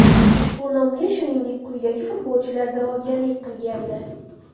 Ushbu nomga shuningdek, quyidagi futbolchilar da’vogarlik qilgandi: !